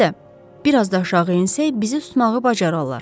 Əlbəttə, biraz da aşağı ensək bizi tutmağı bacararlar.